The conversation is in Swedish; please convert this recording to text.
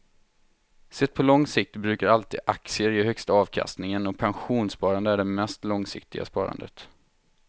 Sett på lång sikt brukar alltid aktier ge högsta avkastningen och pensionssparande är det mest långsiktiga sparandet.